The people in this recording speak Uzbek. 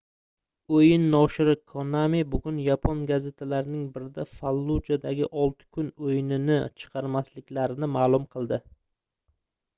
oʻyin noshiri konami bugun yapon gazetalarining birida fallujadagi olti kun oʻyinini chiqarmasliklarini maʼlum qildi